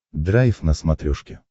драйв на смотрешке